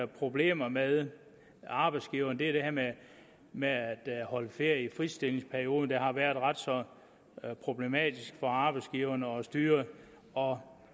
problemer med arbejdsgiverne det er det her med med at holde ferie i fritstillingsperioden der har været ret så problematisk for arbejdsgiverne at styre og